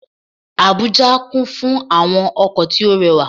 Àbújá kún fún àwọn ọkò tí ó re wà